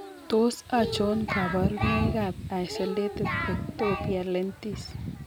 Tos achon kabarunaik ab Isolated ectopia lentis ?